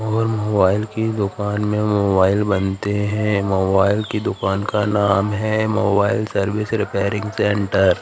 और मोबाइल की दुकान में मोबाइल बनते हैं मोबाइल की दुकान का नाम है मोबाइल सर्विस रिपेयरिंग सेंटर ।